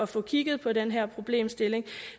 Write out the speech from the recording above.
få kigget på den her problemstilling